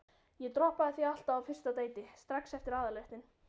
Ég droppaði því alltaf á fyrsta deiti, strax eftir aðalréttinn.